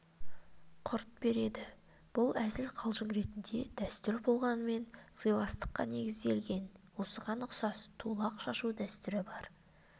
құрт береді бұл әзіл-қалжың ретіндегі дәстүр болғанмен сыйластыққа негізделген осыған ұқсас тулақ шашу дәстүрі бар